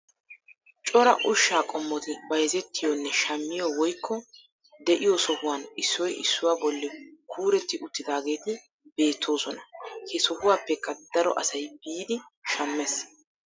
Cora ushsha qommoti bayzzetiyoonne shammiyoo woykko de'iyo sohuwaan issoy issuwaa bolli kuuretti uttidaageti beettoosona. He sohuwaapekka daro asay biidi shammees.